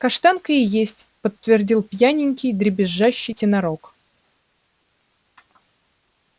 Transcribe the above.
каштанка и есть подтвердил пьяненький дребезжащий тенорок